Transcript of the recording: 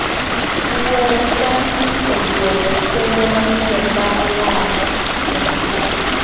Wuoro Francis ogolo chenro manyien mar lando jomaler